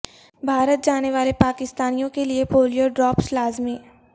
بھارت جانے والے پاکستانیوں کے لیے پولیو ڈراپس لازمی